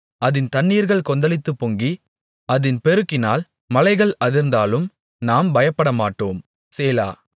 அதின் தண்ணீர்கள் கொந்தளித்துப் பொங்கி அதின் பெருக்கினால் மலைகள் அதிர்ந்தாலும் நாம் பயப்படமாட்டோம் சேலா